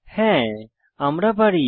হ্যাঁ আমরা পারি